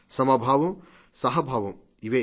సమభావం సహభావం ఇవే